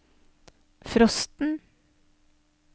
frosten